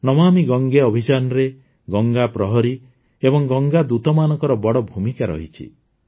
ନମାମି ଗଙ୍ଗେ ଅଭିଯାନରେ ଗଙ୍ଗା ପ୍ରହରୀ ଓ ଗଙ୍ଗା ଦୂତମାନଙ୍କର ବଡ଼ ଭୂମିକା ଅଛି